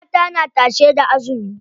Mata na tashe da azumi.